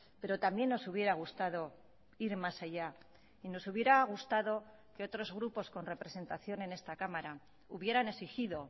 pero también nos hubiera gustado ir más allá y nos hubiera gustado que otros grupos con representación en esta cámara hubieran exigido